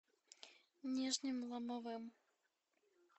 нижним ломовым